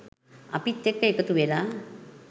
අපිත් එක්ක එකතු වෙලා